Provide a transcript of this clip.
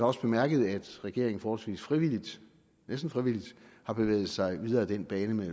også bemærket at regeringen forholdsvis frivilligt næsten frivilligt har bevæget sig videre ad den bane med